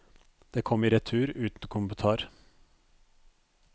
Det kom i retur uten kommentar.